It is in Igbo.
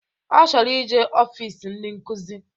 Ọ chọrọ ije ọfịs ndị nkuzi